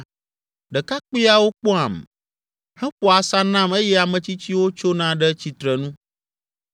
ɖekakpuiawo kpɔam, heƒoa asa nam eye ame tsitsiwo tsona ɖe tsitrenu,